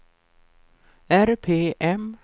RPM